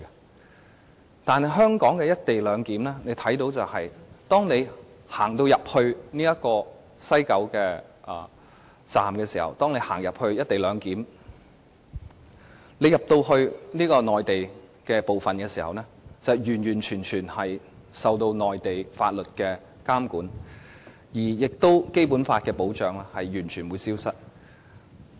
但是，大家看到香港的"一地兩檢"卻是，當你走到西九龍區總站實施"一地兩檢"的地方，進入內地的部分時，你將完全受到內地法律的監管，而《基本法》給予的保障亦會完全消失。